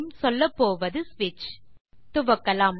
சொல்லப்போவது ஸ்விட்ச் துவக்கலாம்